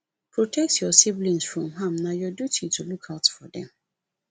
protect your siblings from harm na your duty to look out for dem